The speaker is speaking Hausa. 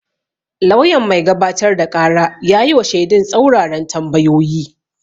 Lauyan mai gabatar da ƙara ya yi wa shedun tsaruraran tambayoyi.